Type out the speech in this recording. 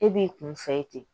E b'i kun fɛ ye ten